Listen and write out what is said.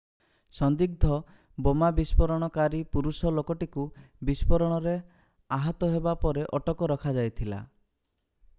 ସନ୍ଦିଗ୍ଧ ବୋମା ବିସ୍ଫୋରଣକାରୀ ପୁରୁଷ ଲୋକଟିକୁ ବିସ୍ଫୋରଣରେ ଆହତ ହେବା ପରେ ଅଟକ ରଖାଯାଇଥିଲା